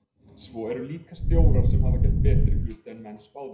Svo eru líka stjórar sem hafa gert betri hluti en menn spáðu.